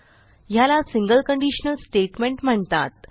ह्याला single conditional statement म्हणतात